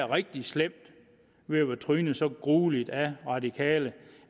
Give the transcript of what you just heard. rigtig slemt med at være trynet så grueligt af radikale